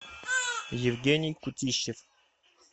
евгений кутищев